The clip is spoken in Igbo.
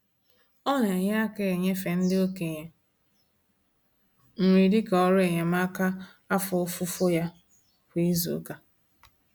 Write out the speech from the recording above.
Ọ na-enye aka enyefe ndị okenye nri dịka ọrụ enyemaka afọ ofufo ya kwa izuụka.